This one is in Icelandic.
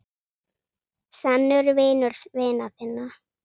Sannur vinur vina þinna.